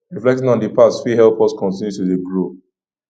reflecting on di past fit help us continue to dey grow